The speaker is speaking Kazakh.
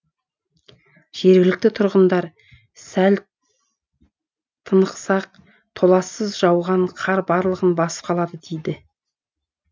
жергілікті тұрғындар сәл тынықсақ толассыз жауған қар барлығын басып қалады дейді